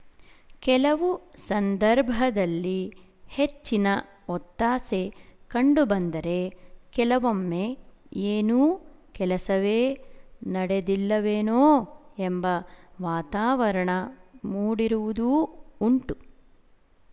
ಕೆಲವು ಸಂದರ್ಭದಲ್ಲಿ ಹೆಚ್ಚಿನ ಒತ್ತಾಸೆ ಕಂಡುಬಂದರೆ ಕೆಲವೊಮ್ಮೆ ಏನೂ ಕೆಲಸವೇ ನಡೆದಿಲ್ಲವೇನೋ ಎಂಬ ವಾತಾವರಣ ಮೂಡಿರುವುದೂ ಉಂಟು